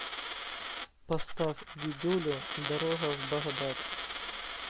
поставь дидюлю дорога в багдад